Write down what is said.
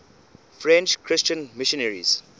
french christian missionaries